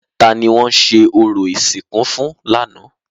Ta ni wọ́n ṣe orò ìsìnkú fún lánàá?